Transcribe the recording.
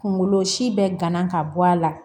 Kunkolo si bɛ gana ka bɔ a la